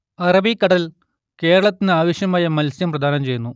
അറബിക്കടൽ കേരളത്തിന് ആവശ്യമായ മത്സ്യം പ്രദാനം ചെയ്യുന്നു